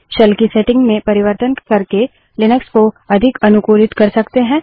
shell की setting में परिवर्तन करके लिनक्स को अधिक अनुकूलित कर सकते है